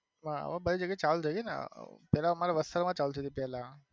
હા હવે બહુ જગ્યા એ ચાલુ થઇ ગઈ ને પેલા અમારે વસ્ત્રાલ માં ચાલુ થઇ પેલા.